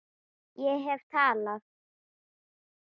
Ég hef talað